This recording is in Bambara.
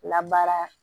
Labaara